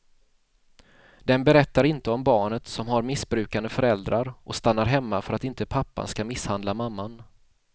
Den berättar inte om barnet som har missbrukande föräldrar och stannar hemma för att inte pappan ska misshandla mamman.